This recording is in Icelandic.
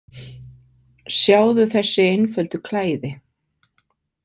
Sjáðu þessi einföldu klæði.